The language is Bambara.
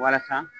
Walasa